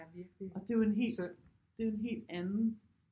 Og det er jo en helt det er en helt anden